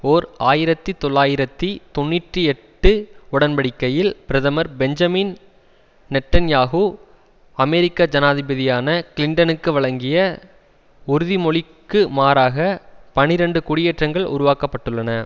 ஓர் ஆயிரத்தி தொள்ளாயிரத்தி தொன்னிற்றி எட்டு உடன்படிக்கையில் பிரதமர் பெஞ்சமின் நெட்டன்யாகு அமெரிக்க ஜனாதிபதியான கிளின்டனுக்கு வழங்கிய உறுதிமொழிக்குமாறாக பனிரண்டு குடியேற்றங்கள் உருவாக்க பட்டுள்ளன